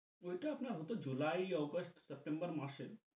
ঐটা আপনার হতো July, Augest, September মাসে।